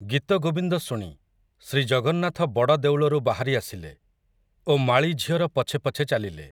ଗୀତଗୋବିନ୍ଦ ଶୁଣି, ଶ୍ରୀଜଗନ୍ନାଥ ବଡ଼ଦେଉଳରୁ ବାହାରି ଆସିଲେ, ଓ ମାଳୀ ଝିଅର ପଛେ ପଛେ ଚାଲିଲେ ।